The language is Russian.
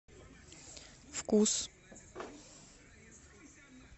вкус